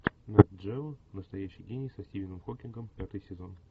нет джео настоящий гений со стивеном хокингом пятый сезон